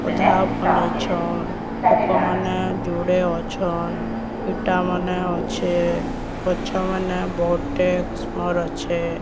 ଅଧା ବନେଇଛନ୍ ଲୋକ ମାନେ ଯୁଡେ ଅଛନ୍ ଇଟା ମାନେ ଅଛେ ଗଛ ମାନେ ବହୁତେ କିସମର୍ ଅଛେ।